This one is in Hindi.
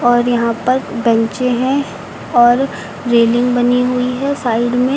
और यहां पर बेंचे हैं और रेलिंग बनी हुई है साइड में।